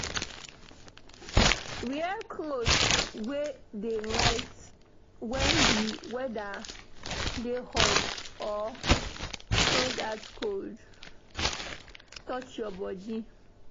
Wear cloth wey dey light when di weather dey hot so dat breeze go fit touch your body